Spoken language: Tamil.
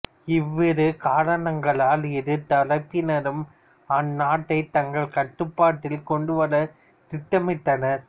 இவ்விரு காரணங்களால் இரு தரப்பினரும் அந்நாட்டை தங்கள் கட்டுப்பாட்டில் கொண்டுவரத் திட்டமிட்டனர்